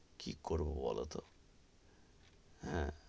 কি করবো বোলো তো, হেঁ,